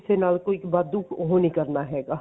ਕਿਸੇ ਨਾਲ ਕੋਈ ਵਾਧੂ ਉਹ ਨੀ ਕਰਨਾ ਹੈਗਾ